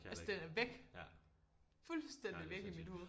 Altså den er væk. Fuldstændig væk i mit hoved